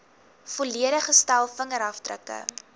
volledige stel vingerafdrukke